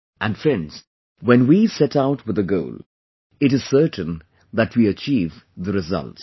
And friends, when we set out with a goal, it is certain that we achieve the results